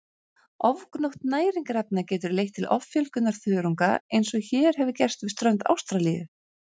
Ofgnótt næringarefna getur leitt til offjölgunar þörunga eins og hér hefur gerst við strönd Ástralíu.